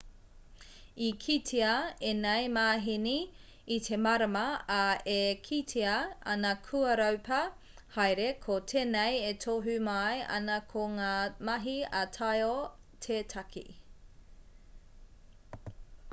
i kitea ēnei māheni i te marama ā e kitea ana kua raupā haere ko tēnei e tohu mai ana ko ngā mahi ā-taiao te take